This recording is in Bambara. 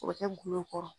O bɛ kɛ gulɔ kɔrɔ